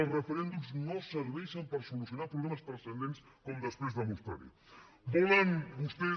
els referèndums no serveixen per solucionar problemes transcendents com després demostraré